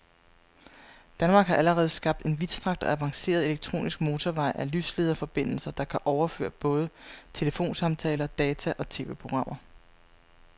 Danmark har allerede skabt en vidtstrakt og avanceret elektronisk motorvej af lyslederforbindelser, der kan overføre både telefonsamtaler, data og TV-programmer.